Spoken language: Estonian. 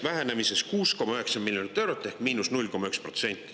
Vähenemine on 6,9 miljonit eurot ehk –0,1%.